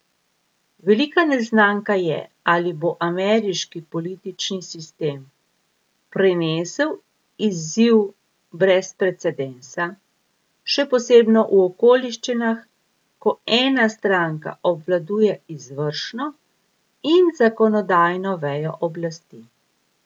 Velika neznanka je, ali bo ameriški politični sistem prenesel izziv brez precedensa, še posebno v okoliščinah, ko ena stranka obvladuje izvršno in zakonodajno vejo oblasti.